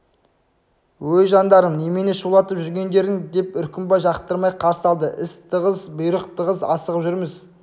өй жандарым немене шулатып жүргендерің деп үркімбай жақтырмай қарсы алды іс тығыз бұйрық тығыз асығып жүрміз